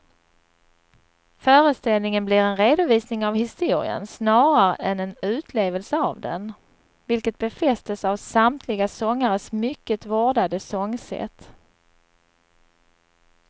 Föreställningen blir en redovisning av historien snarare än en utlevelse av den, vilket befästes av samtliga sångares mycket vårdade sångsätt.